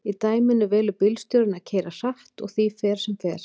í dæminu velur bílstjórinn að keyra hratt og því fer sem fer